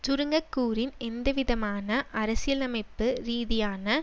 சுருங்கக் கூறின் எந்தவிதமான அரசியலமைப்பு ரீதியான